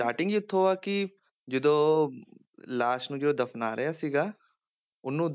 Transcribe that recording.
Starting ਹੀ ਇੱਥੋਂ ਆ ਕਿ ਜਦੋਂ ਲਾਸ਼ ਨੂੰ ਜਦੋਂ ਦਫਨਾ ਰਿਹਾ ਸੀਗਾ ਉਹਨੂੰ,